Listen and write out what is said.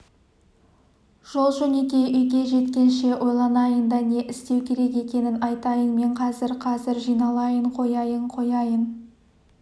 жол-жөнекей үйге жеткенше ойланайын да не істеу керек екенін айтайын мен қазір қазір жиналайын қояйын қояйын